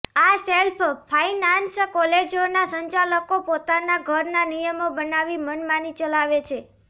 આ self finance કોલેજોના સંચાલકો પોતાના ઘરના નિયમો બનાવી મનમાની ચલાવે છે